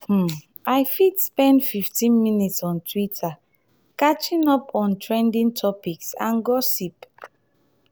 um i fit spend 15 minutes on twitter catching up on trending topics and gossip.